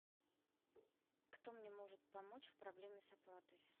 кто мне может помочь в проблеме с оплатой